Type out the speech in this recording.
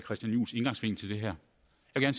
er en